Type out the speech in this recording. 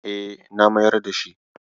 E, na mayar da shi.